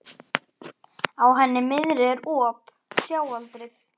Á henni miðri er op, sjáaldrið.